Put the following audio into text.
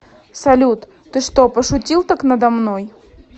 салют ты что пошутил так надо мной